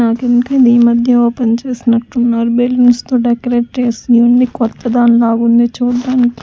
నాకెందుకో ఇది ఈ మధ్యే ఓపెన్ చేసినట్టున్నారు బెలూన్స్ తో డెకరేట్ చేసి ఉంది కొత్త దాన్ లాగుంది చూడ్డానికి.